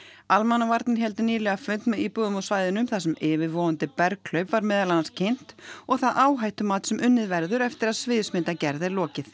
almannavarnir héldu nýlega fund með íbúum á svæðinu þar sem yfirvofandi var meðal annars kynnt og það áhættumat sem unnið verður eftir að sviðsmyndagerð er lokið